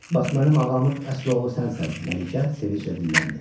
Bax mənim ağamın əsl oğlu sənsən, Məlikə sevinclə dilləndi.